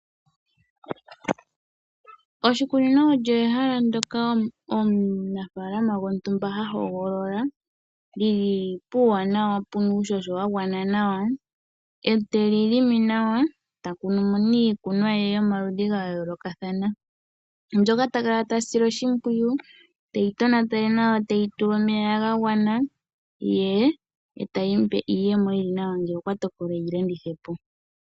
Oshikunino olyo ehala ndyoka omuna faalama gontumba ha hogolola , lili puuwanawa puna uuhoho wagwana nawa , ete li longo nawa eta kunu mo iikunomwa ye yomaludhi gayoolokathana . Oheli sile oshimpwiyu, teli tonatele nawa, teli tekele. Ohayi mupe iiyemo iiwanawa ngele okwatokola eyi landithepo